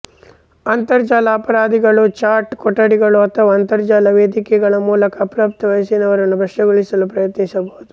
ಅಂತರಜಾಲ ಅಪರಾಧಿಗಳು ಚಾಟ್ ಕೊಠಡಿಗಳು ಅಥವಾ ಅಂತರ್ಜಾಲ ವೇದಿಕೆಗಳ ಮೂಲಕ ಅಪ್ರಾಪ್ತ ವಯಸ್ಸಿನವರನ್ನು ಭ್ರಷ್ಟಗೊಳಿಸಲು ಪ್ರಯತ್ನಿಸಬಹುದು